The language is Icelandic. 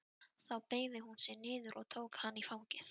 Þá beygði hún sig niður og tók hann í fangið.